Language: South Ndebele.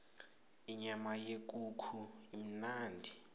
inyama yekukhu imnandi